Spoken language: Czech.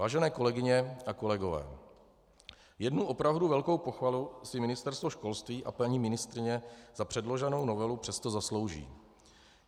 Vážené kolegyně a kolegové, jednu opravdu velkou pochvalu si Ministerstvo školství a paní ministryně za předloženou novelu přesto zaslouží.